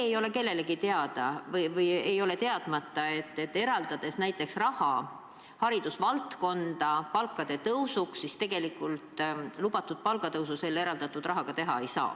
Ei ole kellelegi teadmata, et kui eraldatakse näiteks raha haridustöötajate palgafondi, siis tegelikult lubatud palgatõusu selle rahaga teha ei saa.